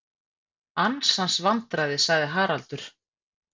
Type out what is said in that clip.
Ansans vandræði sagði Haraldur.